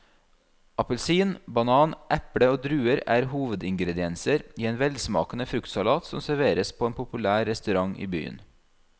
Appelsin, banan, eple og druer er hovedingredienser i en velsmakende fruktsalat som serveres på en populær restaurant i byen.